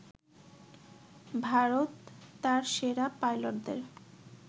ভারত তার সেরা পাইলটদের